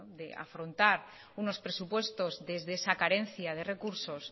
de afrontar unos presupuestos desde esa carencia de recursos